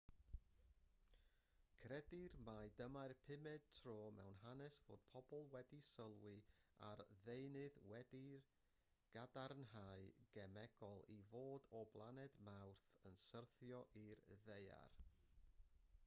credir mai dyma'r pumed tro mewn hanes fod pobl wedi sylwi ar ddeunydd wedi'i gadarnhau'n gemegol i fod o blaned mawrth yn syrthio i'r ddaear